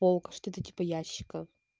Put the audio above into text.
полка что-то типа ящика